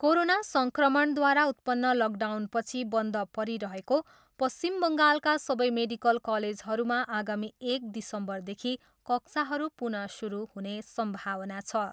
Corona सङ्क्रमणद्वारा उत्पन्न लकडाउनपछि बन्द परिरहेको पश्चिम बङ्गालका सबै मेडिकल कलेजहरूमा आगामी एक दिसम्बरदेखि कक्षाहरू पुनः सुरु हुने सम्भावना छ।